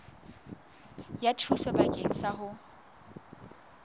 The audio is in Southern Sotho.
ya thuso bakeng sa ho